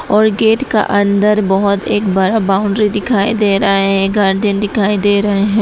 और गेट का अंदर बहुत एक बड़ा बाउंड्री दिखाई दे रहा है गार्डन दिखाई दे रहे हैं।